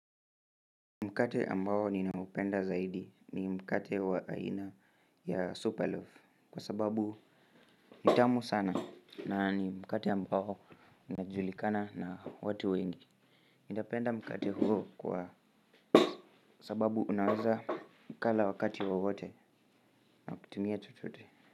Mkate ambao ninaupenda zaidi ni mkate wa aina ya Superloaf. Kwa sababu ni tamu sana na ni mkate ambao unajulikana na watu wengi Napenda mkate huo kwa sababu unaweza ukala wakati wa wote nakutumia chochote.